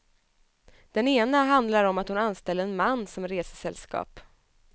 Den ena handlar om att hon anställde en man som resesällskap.